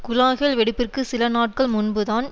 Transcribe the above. குழாய்கள் வெடிப்பிற்கு சில நாட்கள் முன்புதான்